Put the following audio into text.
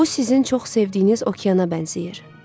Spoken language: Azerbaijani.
Bu sizin çox sevdiyiniz okeana bənzəyir.